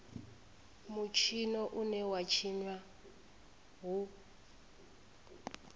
mutshino une wa tshinwa hu